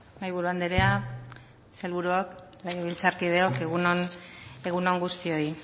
mahaiburu anderea sailburuok legebiltzarkideok egun on guztioi